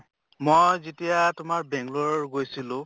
মই যেতিয়া তোমাৰ বাংলৰ গৈছিলো